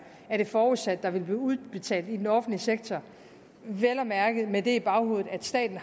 er forudsat at der vil blive udbetalt i den offentlige sektor vel at mærke med det i baghovedet at staten